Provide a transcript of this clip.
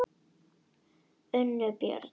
Unnbjörn, ég kom með áttatíu og sex húfur!